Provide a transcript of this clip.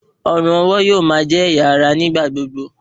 Ọrùn-ọwọ̀ yóò máa jẹ́ ẹ̀yà ara ní ìgbà gbogbo